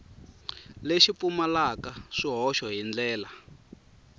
lexi pfumalaka swihoxo hi ndlela